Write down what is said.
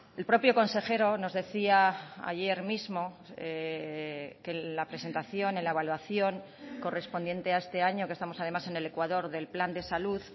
el propio consejero nos decía ayer mismo que la presentación en la evaluación correspondiente a este año que estamos además en el ecuador del plan de salud